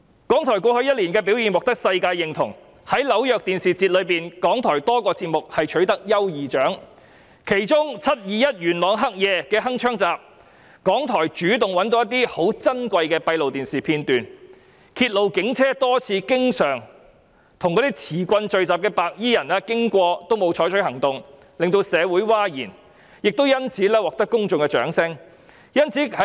港台過去一年的表現獲得世界認同，在紐約電視節中，港台有多個節目取得優異獎，當中的"鏗鏘集 ：721 元朗黑夜"，港台覓得珍貴的閉路電視片段，揭露警車即使多次巡經手持棍棒聚集的白衣人也沒有採取行動，令社會譁然，因此獲得公眾的掌聲。